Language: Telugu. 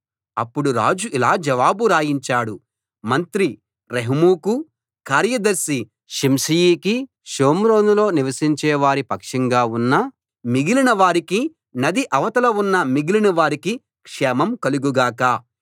అప్పుడు రాజు ఇలా జవాబు రాయించాడు మంత్రి రెహూముకు కార్యదర్శి షిమ్షయికి షోమ్రోనులో నివసించేవారి పక్షంగా ఉన్న మిగిలిన వారికి నది ఆవతల ఉన్న మిగిలిన వారికి క్షేమం కలుగు గాక